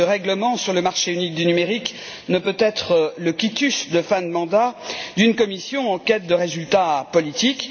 En effet, ce règlement sur le marché unique du numérique ne peut être le quitus de fin de mandat d'une Commission en quête de résultats politiques.